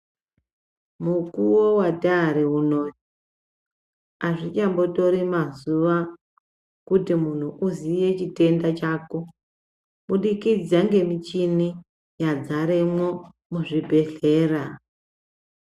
Mukovo vatari unouyu hazvichambotori mazuva kuti muntu uziye chitenda chako. Kubudikidza ngemichini yagaremwo muzvibhedhlera.